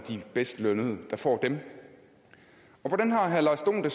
bedst lønnede der får dem hvordan har herre lars dohn det